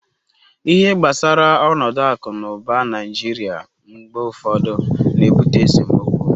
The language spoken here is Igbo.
ihe gbasara onodu aku na uba naijiria mgbe ufodu na-ebute esemokwu